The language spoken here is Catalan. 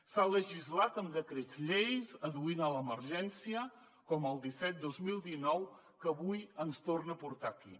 s’ha legislat amb decrets llei adduint l’emergència com el disset dos mil dinou que avui ens torna a portar aquí